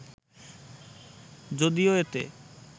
যদিও এতে